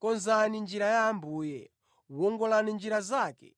konzani njira ya Ambuye, wongolani njira zake.